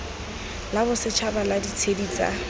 la bosetšhaba la ditshedi tsa